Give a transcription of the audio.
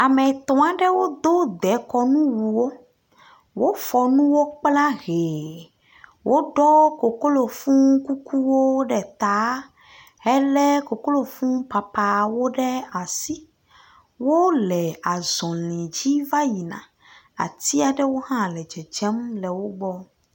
Ame etɔ aɖewo do dekɔnu wu wo. Wofɔ nu wo kpla hɛ. Wo ɖɔ koklo fũ kukuwo ɖe ta. He le koklo fũ papaawo ɖe asi. Wole azɔli dzi va yina. Ati aɖewo hã le dzedzem le wogbɔ.